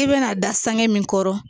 I bɛna da sangɛn min kɔrɔ